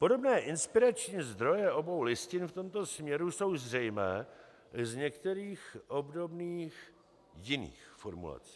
Podobné inspirační zdroje obou listin v tomto směru jsou zřejmé z některých obdobných jiných formulací.